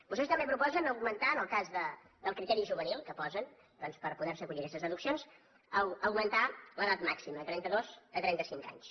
vostès també proposen augmentar en el cas del criteri juvenil que posen doncs per poder se acollir a aquestes deduccions l’edat màxima de trenta dos a trenta cinc anys